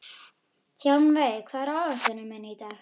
Hjálmveig, hvað er á áætluninni minni í dag?